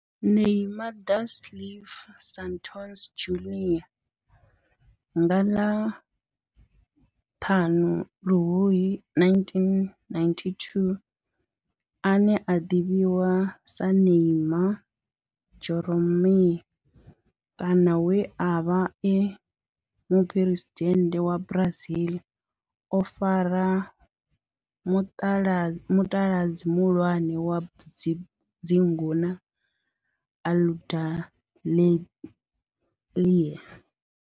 Neymar da Silva Santos Junior nga ḽa 5 February 1992, ane a ḓivhiwa sa Neymar Jeromme kana we a vha e muphuresidennde wa Brazil o fara mutaladzi muhulwane wa dzingu na Aludalelia.